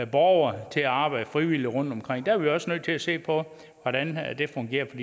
borgere til at arbejde frivilligt rundtomkring der er vi også nødt til at se på hvordan det fungerer for